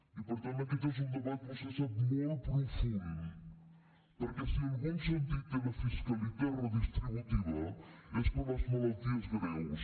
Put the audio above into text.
i per tant aquest és un debat vostè ho sap molt profund perquè si algun sentit té la fiscalitat redistributiva és per a les malalties greus